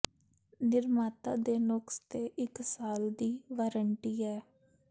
ਨਿਰਮਾਤਾ ਦੇ ਨੁਕਸ ਤੇ ਇੱਕ ਸਾਲ ਦੀ ਵਾਰੰਟੀ ਹੈ